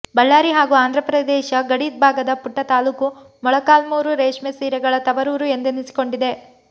ಬಳ್ಳಾರಿ ಹಾಗೂ ಆಂಧ್ರಪ್ರದೇಶ ಗಡಿ ಭಾಗದ ಪುಟ್ಟ ತಾಲೂಕು ಮೊಳಕಾಲ್ಮೂರು ರೇಷ್ಮೆ ಸೀರೆಗಳ ತವರೂರು ಎಂದೆನಿಸಿಕೊಂಡಿದೆ